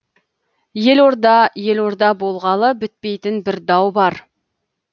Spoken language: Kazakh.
елорда елорда болғалы бітпейтін бір дау бар